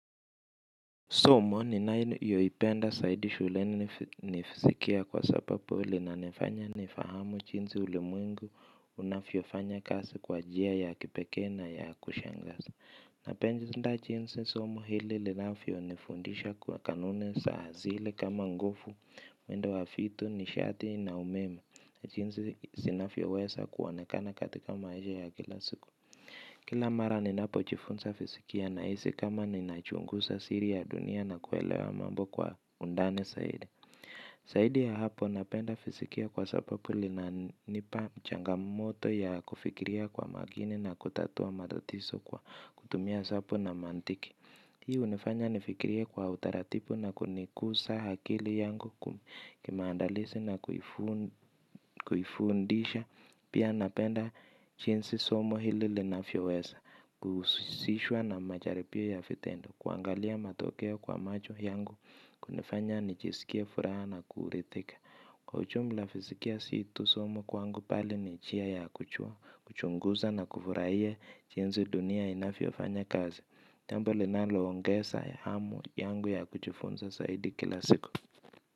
Somo ninayoipenda zaidi shuleni ni fizikia kwani iinanofanya nifahamu jinsi ulimwengu inafanya kazi kwa njia ya kipekee na ya kushangaza napenda jinsi somo hili linavyonifundisha kwa kanuni za asili kama nguvu mwendo wa vitu nishati na umeme jinsi zinavyoweza kuonekana katika maisha ya kila siku. Kila mara ninapo jifunza fizikia na hisi kama ninachunguza siri ya dunia na kuelewa mambo kwa undani zaidi. Zaidi ya hapo napenda fizikia kwa sababu inananipa changamoto ya kufikiria kwa makini na kutatua matatizo kwa kutumia hesabu na maantiki. Hii hunifanya nifikirie kwa utaratibu na kuniguza akili yangu kimaandalizi na kuifundisha pia napenda jinsi somo hili linavyo weza. Kuhusishwa na majaribio na vitendo kuangalia matokeo kwa macho yangu kunifanya nijiskie furaha na kuridhika. Kwa ujumla fizikia sii tu somo kwangu bali ninjia ya kujua, kuchunguza na kufurahia jinsi dunia inavyofanya kazi. Jambo linaloongeza hamu yangu ya kujifunza zaidi kila siku.